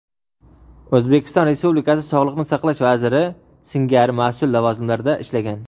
O‘zbekiston Respublikasi sog‘liqni saqlash vaziri singari mas’ul lavozimlarda ishlagan.